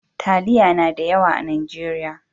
Taliya na da yawa a Najeriya.